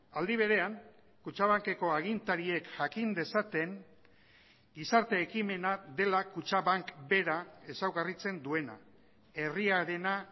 aldi berean kutxabankeko agintariek jakin dezaten gizarte ekimena dela kutxabank bera ezaugarritzen duena herriarena